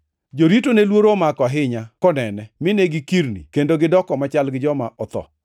Jorito ne luoro omako ahinya konene, mine gikirni, kendo negidoko machal gi joma otho.